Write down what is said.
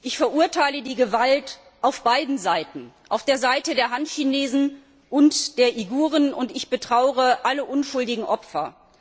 Ich verurteile die Gewalt auf beiden Seiten, auf der Seite der Han Chinesen und der Uiguren, und ich betrauere alle unschuldigen Opfer.